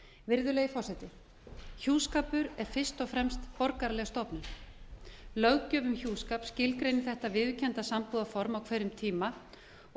virðulegi forseti hjúskapur er fyrst og fremst borgaraleg stofnun löggjöf um hjúskap skilgreinir þetta viðurkennda sambúðarform á hverjum tíma og